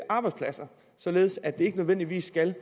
arbejdspladser således at de ikke nødvendigvis skal